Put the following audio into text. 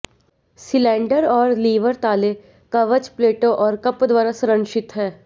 cylinder और lever ताले कवच प्लेटों और कप द्वारा संरक्षित हैं